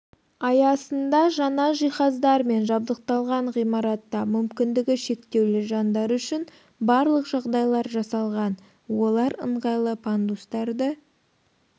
аясында жаңа жиһаздармен жабдықталған ғимаратта мүмкіндігі шектеулі жандар үшін барлық жағдайлар жасалған олар ыңғайлы пандустарды